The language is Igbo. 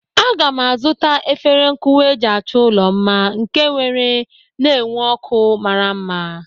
Aga m a zụta efere nkụwa eji achọ ụlọ mma nke nwere na-enwu ọ́kụ́ mmara mma.